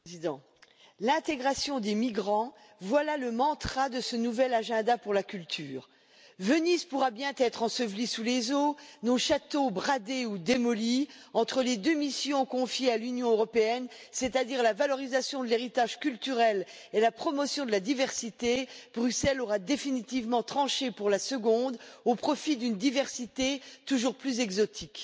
Monsieur le Président, l'intégration des migrants, voilà le mantra de ce nouvel agenda pour la culture. Venise pourra bientôt être ensevelie sous les eaux, nos châteaux bradés ou démolis, entre les deux missions confiées à l'Union européenne, c'est à dire la valorisation de l'héritage culturel et la promotion de la diversité, Bruxelles aura définitivement tranché pour la seconde au profit d'une diversité toujours plus exotique.